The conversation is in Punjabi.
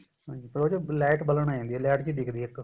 ਹਾਂਜੀ ਫੇਰ ਉਸ ਚ light ਬਲਣ ਲੱਗ ਜਾਂਦੀ ਏ light ਜੀ ਦਿਖਦੀ ਏ ਇੱਕ